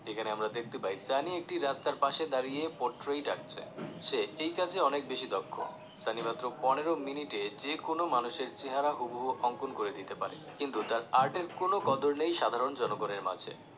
এখানে আমরা দেখতে পাই সানি একটি রাস্তার পাশে দাঁড়িয়ে portrait আঁকছে সে এই কাজে অনেক বেশি দক্ষ সানি মাত্র পনেরো মিনিটে যে কোন মানুষের চেহারার হুবহু অঙ্কন করে দিতে পারে কিন্তু তার art এর কোন কদর নেই সাধারণ জনগনের মাঝে